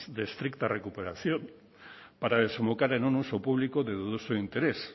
de estricta recuperación para desembocar en uso público de dudoso interés